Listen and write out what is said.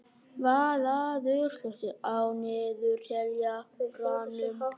Vallaður, slökktu á niðurteljaranum.